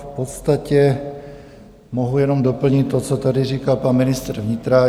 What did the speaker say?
V podstatě mohu jenom doplnit to, co tady říkal pan ministr vnitra.